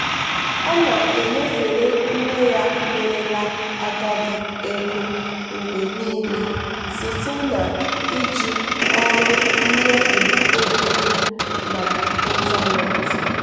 ọ na-enyefere nne ya merela agadi ego mgbe niile site na-iji ọrụ nnyefe ego n'ịntanetị.